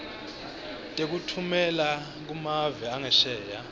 tekutfumela kumave angesheya